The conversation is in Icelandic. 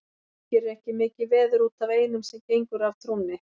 Guð gerir ekki mikið veður út af einum sem gengur af trúnni.